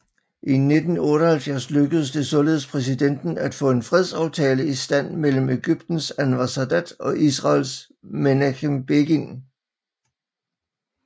I 1978 lykkedes det således præsidenten at få en fredsaftale i stand mellem Egyptens Anwar Sadat og Israels Menachem Begin